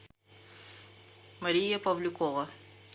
мария павлюкова